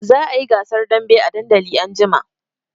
Za a yi gasar dambe a dandali anjima.